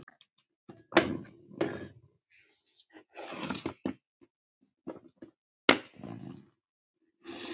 Er það álagið?